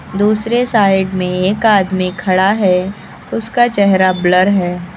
दूसरी साइड में एक आदमी खड़ा है उसका चेहरा ब्लर है।